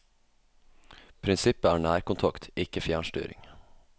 Prinsippet er nærkontakt, ikke fjernstyring.